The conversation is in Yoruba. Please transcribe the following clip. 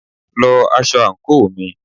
lọ aṣọ àńkò mi!